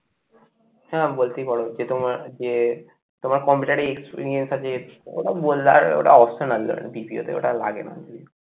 হ্যাঁ বলতেই পারো যে তোমার যে তোমার computer এ experience আছে ওটা বললে ওটা optional ওটা লাগে না